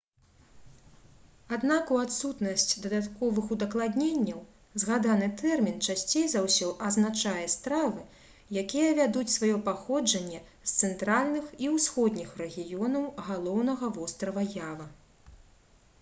аднак у адсутнасць дадатковых удакладненняў згаданы тэрмін часцей за ўсё азначае стравы якія вядуць сваё паходжанне з цэнтральных і ўсходніх рэгіёнаў галоўнага вострава ява